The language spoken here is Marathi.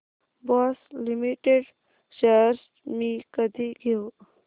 बॉश लिमिटेड शेअर्स मी कधी घेऊ